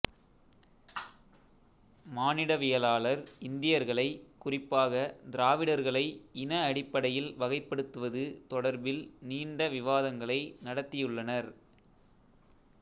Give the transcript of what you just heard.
மானிடவியலாளர் இந்தியர்களை குறிப்பாக திராவிடர்களை இன அடிப்படையில் வகைப்படுத்துவது தொடர்பில் நீண்ட விவாதங்களை நடத்தியுள்ளனர்